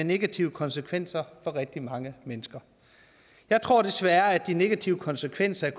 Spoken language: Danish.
negative konsekvenser for rigtig mange mennesker jeg tror desværre at de negative konsekvenser